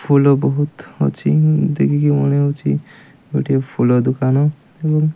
ଫୁଲ ବୋହୁତ ଅଛି ଉଁ ଦେଖିକି ମନେ ହୋଉଚି ଗୋଟିଏ ଫୁଲ ଦୋକାନ ଏବଂ --